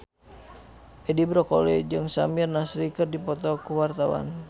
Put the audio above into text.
Edi Brokoli jeung Samir Nasri keur dipoto ku wartawan